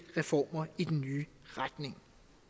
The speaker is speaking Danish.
reformer i den nye retning